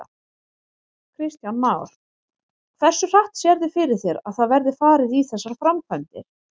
Kristján Már: Hversu hratt sérðu fyrir þér að það verði farið í þessar framkvæmdir?